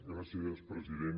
gràcies president